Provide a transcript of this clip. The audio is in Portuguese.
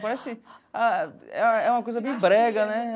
Parece ah... É é uma coisa bem brega, né?